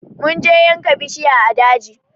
Mun je yanka bishiya a daji